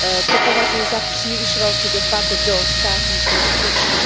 To považuji za příliš velký dopad do státních rozpočtů.